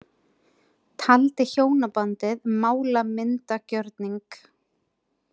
Taldi hjónabandið málamyndagjörning